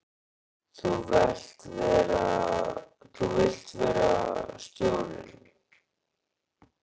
Þú vilt vera stjórinn?